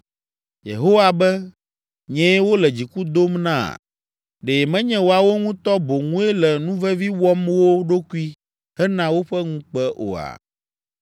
Yehowa be, ‘Nyee wole dziku dom na? Ɖe menye woawo ŋutɔ boŋue le nuvevi wɔm wo ɖokui hena woƒe ŋukpe oa?’